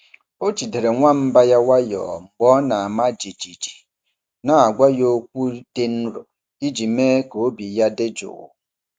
Ọ jidere nwamba ya nwayọọ mgbe ọ na-ama jijiji, na-agwa ya okwu dị nro iji mee ka obi ya dị jụụ.